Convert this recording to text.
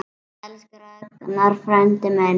Elsku Ragnar frændi minn.